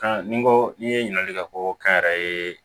ni ko n'i ye ɲininkali kɛ ko kɛnyɛrɛ ye